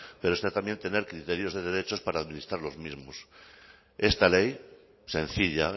pero está también tener criterios de derechos para administrar los mismos esta ley sencilla